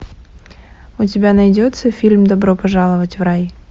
у тебя найдется фильм добро пожаловать в рай